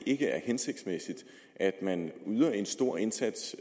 ikke er hensigtsmæssigt at man yder en stor indsats